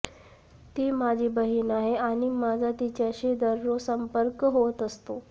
ती माझी बहीण आहे आणि माझा तिच्याशी दररोज संपर्क होत असतो